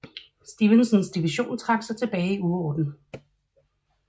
Stevensons division trak sig tilbage i uorden